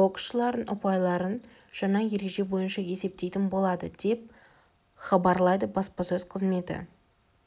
боксшылардың ұпайларын жаңа ереже бойынша есептейтін болады деп іабарлайды баспасөз қызметі